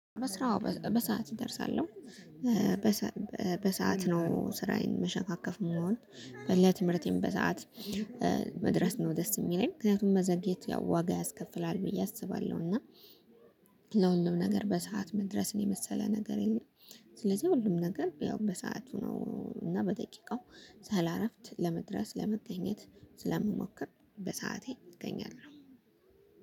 በስራው በሰአት እደርሳለሁ። በሰአት ነው ስራዬን መሸካከፍ ምወድ ለትምህርቴም በሰአት መድረስ ነው። ደስ የሚለኝ ምክንያቱም መዘግየት ያው ዋጋ ያስከፍላል ብዬ አስባለሁ። እና ለሁሉም ነገር በሰአት መድረስን የመሰለ ነገር የለም። ስለዚህ ሁሉም ነገር ያው በሰአቱ ነው እና በደቂቃው ሳላረፍድ ለመድረስ ለመገኘት ስለምሞክር በሰአቴ እገኛለሁ።